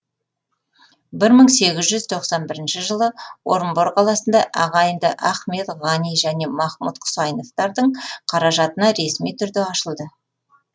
бір мың сегіз жүз тоқсан бірінші жылы орынбор қаласында ағайынды ахмед ғани және махмуд құсайыновтардың қаражатына ресми түрде ашылды